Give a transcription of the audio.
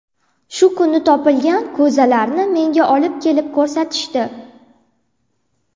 Shu kuni topilgan ko‘zalarni menga olib kelib ko‘rsatishdi.